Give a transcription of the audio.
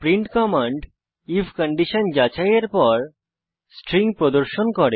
print command if condition যাচাইয়ের পর string প্রদর্শন করে